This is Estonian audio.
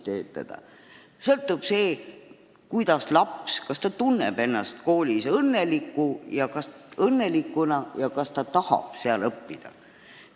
Koolijuhist sõltub see, kas laps tunneb ennast koolis õnnelikuna ja kas ta tahab seal õppida.